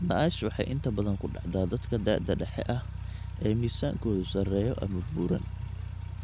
NASH waxay inta badan ku dhacdaa dadka da'da dhexe ah oo miisaankoodu sarreeyo ama buuran.